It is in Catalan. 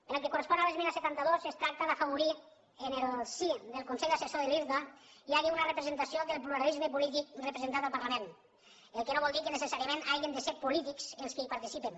en el que correspon a l’esmena setanta dos es tracta d’afavorir que en el si del consell assessor de l’irta hi hagi una representació del pluralisme polític representat pel parlament que no vol dir que necessàriament hagin de ser polítics els qui hi participin